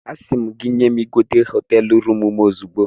Asị m gị nye m igodo hoteelu rụmụ m ozugbo